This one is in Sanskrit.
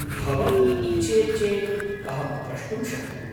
भवती इच्छेत् चेत् अहं प्रष्टुं शक्नोमि।